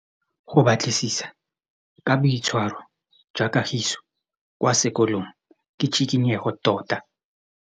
Go batlisisa ka boitshwaro jwa Kagiso kwa sekolong ke tshikinyêgô tota.